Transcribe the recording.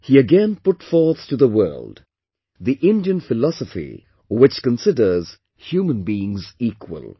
He again put forth to the world, the Indian philosophy which considers human beings equal